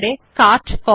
bullet ও number দেওয়া